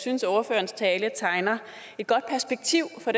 synes at ordførerens tale tegner et godt perspektiv for